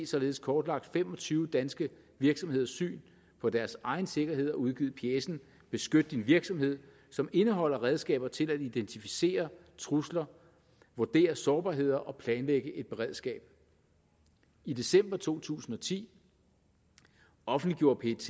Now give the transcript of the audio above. således kortlagt fem og tyve danske virksomheders syn på deres egen sikkerhed og udgivet pjecen beskyt din virksomhed som indeholder redskaber til at identificere trusler vurdere sårbarheder og planlægge et beredskab i december to tusind og ti offentliggjorde pet